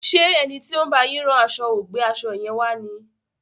Ṣé ẹni tí ó ń bá yín rán aṣo ò gbé aṣo yẹn wá ni?